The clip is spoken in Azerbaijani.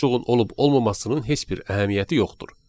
Bu boşluğun olub-olmamasının heç bir əhəmiyyəti yoxdur.